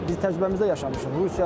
Bunu biz təcrübəmizdə yaşamışıq.